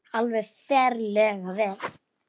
Alveg ferlega vel.